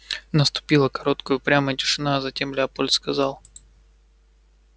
наступила короткая упрямая тишина а затем лепольд сказал